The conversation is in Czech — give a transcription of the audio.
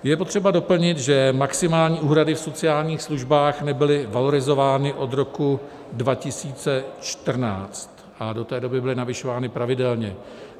Je potřeba doplnit, že maximální úhrady v sociálních službách nebyly valorizovány od roku 2014 a do té doby byly navyšovány pravidelně.